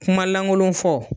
Kuma lankolon fɔ.